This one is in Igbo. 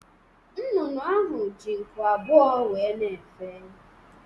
Nnụnụ ahụ ji nku abụọ wéé na-efe.